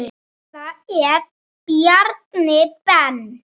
Hvað ef Bjarni Ben.